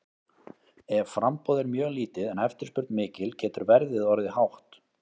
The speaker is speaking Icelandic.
Ef framboð er mjög lítið en eftirspurn mikil getur verðið orðið hátt.